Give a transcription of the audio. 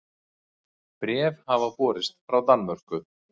Bréf hafði borist frá Danmörku.